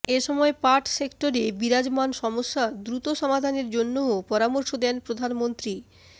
এসময় পাট সেক্টরে বিরাজমান সমস্যা দ্রুত সমাধানের জন্যও পরামর্শ দেন প্রধানমন্ত্রী